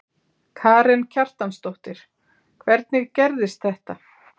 Karen Kjartansdóttir: Hvernig gerðist þetta?